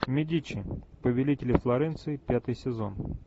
медичи повелители флоренции пятый сезон